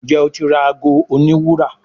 Njé o tí ra àgọ òní wúrà.